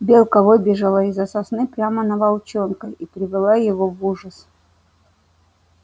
белка выбежала из за сосны прямо на волчонка и привела его в ужас